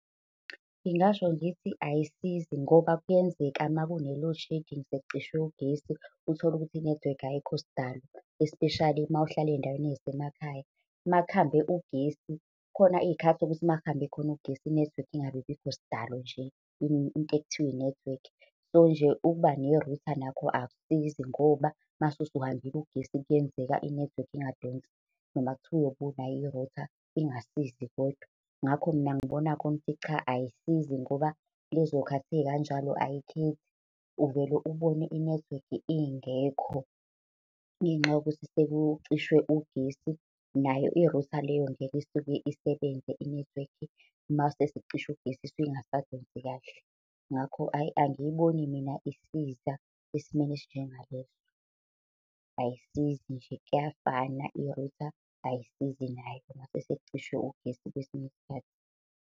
Ngingasho ngithi ayisizi ngoba kuyenzeka uma kune-load shedding sekucishe ugesi, uthole ukuthi inethiwekhi ayikho sdalo. Espeshali mawuhlala ey'ndaweni ey'semakhaya makuhambe ugesi, khona iy'khathi sokuthi makuhambe khona ugesi. Inethiwekhi ingabibikho sidalo nje into ekuthiwa inethiwekhi. So nje ukuba nerutha nakho akusizi ngoba uma usuhambile ugesi kuyenzeka inethiwekhi ingadonsi. Noma kuthiwa ubunayo irutha ingasizi kodwa. Ngako mina ngibona khona ukuthi cha, ayisizi ngoba lezo khathi ey'kanjalo ayikhethi. Uvele ubone inethiwekhi ingekho ngenxa yokuthi sekucishwe ugesi. Nayo irutha leyo ngeke isuke isebenze inethiwekhi mase kucishwe ugesi isuke isingasdonsi kahle. Ngakho, hhayi angiyiboni mina isiza esimeni esinjenga leso. Ayisizi nje kuyafana irutha ayisizi nayo, mase sekucishwe ugesi kwesinye isikhathi.